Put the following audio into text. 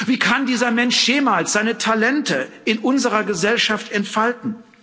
Wie kann dieser Mensch jemals seine Talente in unserer Gesellschaft entfalten?